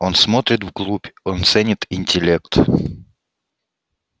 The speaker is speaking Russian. он смотрит вглубь он ценит интеллект